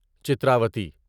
Chitravati